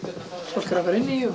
fólk er að fara inn í